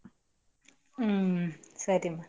ಹ್ಮ್ ಸರಿಮ.